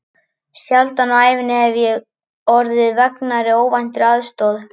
Sjaldan á ævinni hef ég orðið fegnari óvæntri aðstoð.